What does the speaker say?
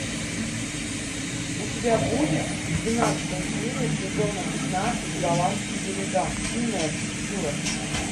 у тебя будет двенадцатая серия сезона пятнадцать голландские берега умная архитектура